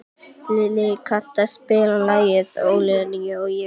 Lillý, kanntu að spila lagið „Ólína og ég“?